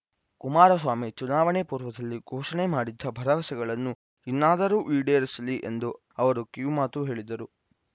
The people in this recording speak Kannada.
ಕುಮಾರಸ್ವಾಮಿ ಚುನಾವಣೆ ಪೂರ್ವದಲ್ಲಿ ಘೋಷಣೆ ಮಾಡಿದ್ದ ಭರವಸೆಗಳನ್ನು ಇನ್ನಾದರೂ ಈಡೇರಿಸಲಿ ಎಂದು ಅವರು ಕಿವಿಮಾತು ಹೇಳಿದರು